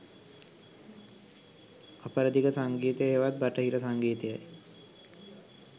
අපරදිග සංගීතය හෙවත් බටහිර සංගීතයයි.